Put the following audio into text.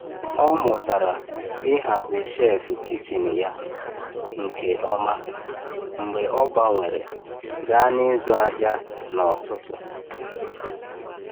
Ọ mụtara ịhazi shelf kichin ya nke ọma mgbe ọ gbanwere gaa n’ịzụ ahịa n’ọtụtù.